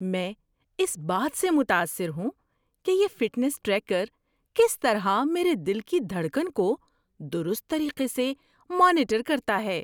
میں اس بات سے متاثر ہوں کہ یہ فٹنس ٹریکر کس طرح میرے دل کی دھڑکن کو درست طریقے سے مانیٹر کرتا ہے۔